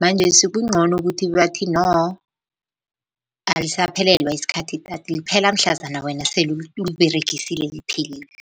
Manjesi kuncono kuthi bathi no alisaphelelwa yisikhathi idatha, liphela mhlazana wena uliberegisile liphelile.